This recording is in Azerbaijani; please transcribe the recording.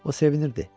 O sevinirdi.